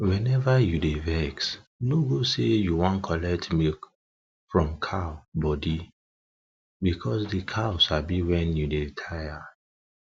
whenever you dey vex no go say you wan collect milk from cow body because de cow sabi when you dey tired